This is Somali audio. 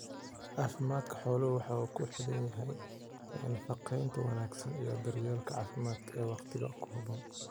Caafimaadka xooluhu waxa uu ku xidhan yahay nafaqaynta wanaagsan iyo daryeelka caafimaad ee wakhtiga ku haboon.